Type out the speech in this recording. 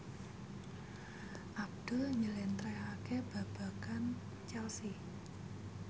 Abdul njlentrehake babagan Chelsea